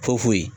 Fɔ foyi